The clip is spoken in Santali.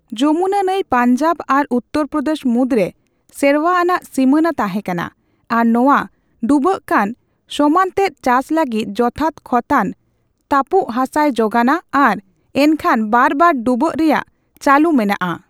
ᱡᱚᱢᱩᱱᱟ ᱱᱟᱹᱭ ᱯᱟᱧᱡᱟᱵ ᱟᱨ ᱩᱛᱛᱚᱨᱯᱚᱫᱮᱥ ᱢᱩᱫᱽᱨᱮ ᱥᱮᱨᱣᱟ ᱟᱱᱟᱜ ᱥᱤᱢᱟᱹᱱᱟ ᱛᱟᱦᱮᱸ ᱠᱟᱱᱟ ᱟᱨ ᱱᱚᱣᱟ ᱰᱩᱵᱟᱹᱜᱠᱟᱱ ᱥᱚᱢᱟᱱᱚᱛᱮᱛ ᱪᱟᱥ ᱞᱟᱹᱜᱤᱫ ᱡᱚᱛᱷᱟᱛ ᱠᱷᱚᱛᱟᱱ ᱛᱟᱹᱯᱩᱜᱦᱟᱥᱟᱭ ᱡᱚᱜᱟᱱᱟ ᱟᱨ ᱮᱱᱠᱷᱟᱱ ᱵᱟᱨᱵᱟᱨ ᱰᱩᱵᱟᱹ ᱨᱮᱭᱟᱜ ᱪᱟᱹᱞᱩ ᱢᱮᱱᱟᱜᱼᱟ ᱾